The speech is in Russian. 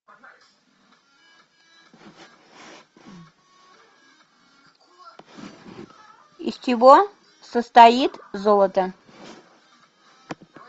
из чего состоит золото